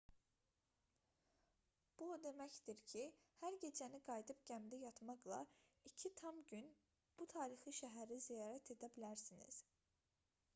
bu o deməkdir ki hər gecəni qayıdıb gəmidə yatmaqla iki tam gün bu tarixi şəhəri ziyarət edə bilərsiniz